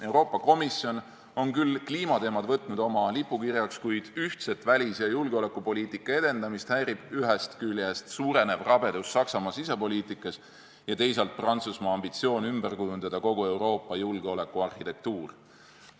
Euroopa Komisjon on kliimateemad oma lipukirjaks võtnud, kuid ühtse välis- ja julgeolekupoliitika edendamist häirib ühest küljest suurenev rabedus Saksamaa sisepoliitikas ja teisalt Prantsusmaa ambitsioon ümber kujundada kogu Euroopa julgeolekuarhitektuur.